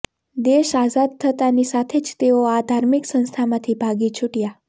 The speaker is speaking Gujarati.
દેશ આઝાદ થતાંની સાથે જ તેઓ આ ધાર્મિક સંસ્થામાંથી ભાગી છૂટયાં